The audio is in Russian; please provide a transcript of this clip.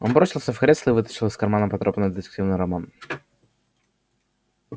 он бросился в кресло и вытащил из кармана потрёпанный детективный роман